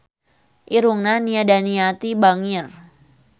Irungna Nia Daniati bangir